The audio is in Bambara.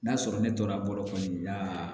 N'a sɔrɔ ne tora bolo kɔni na